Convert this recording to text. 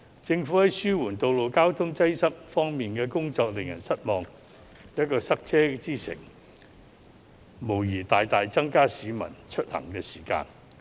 政府在紓緩道路交通擠塞方面的工作令人失望，香港成為塞車之城，無疑大大增加市民的出行時間。